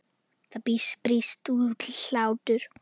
Það brýst út hlátur.